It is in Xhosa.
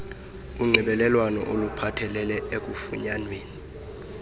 unxibelelwano oluphathelele ekufunyanweni